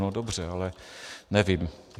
No dobře, ale nevím.